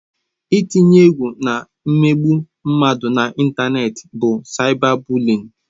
Ị tinye egwu na imegbu mmadụ na ịntanetị bụ saịba bụliịn.